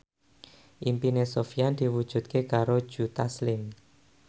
impine Sofyan diwujudke karo Joe Taslim